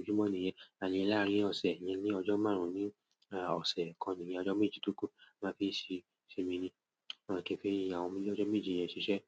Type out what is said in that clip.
ojojúmọ̀ nìyẹn. Àti láàárín ọ̀sẹ̀ iyẹn ni ọjọ́ márùn-ún ní ọ̀sẹ̀ kan ni ọjọ́ méjì tó kù tí mo máa fi ṣiṣẹ́ mi ni láti fi àwọn ọjọ́ méjì yẹn ṣiṣẹ́.